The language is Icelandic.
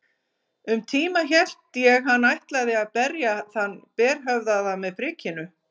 Um tíma hélt ég hann ætlaði að berja þann berhöfðaða með prikinu.